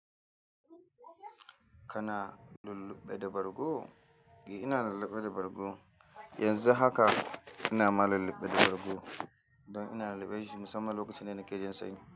Kana lulluɓe da bargo?, ina lulluɓe da bargo. Yanzu haka ina ma lulluɓe da bargo don ina lulluɓe shi musamman lokacin da nake jin sanyi.